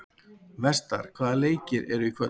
Vestar, hvaða leikir eru í kvöld?